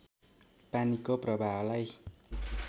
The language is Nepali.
पानीको प्रवाहलाई